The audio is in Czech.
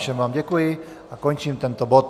Všem vám děkuji a končím tento bod.